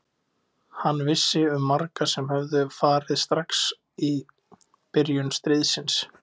Hann vissi um marga sem höfðu farið strax í byrjun stríðsins.